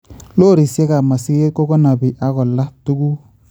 Lorisiekab masiket kokanabi ak kolaa tuguk